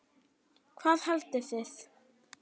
Hvað haldið þið!